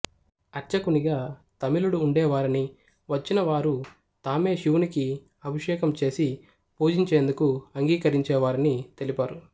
అర్చకునిగా తమిళుడు ఉండేవారనీ వచ్చినవారు తామే శివునికి అభిషేకము చేసి పూజించేందుకు అంగీకరించేవారని తెలిపారు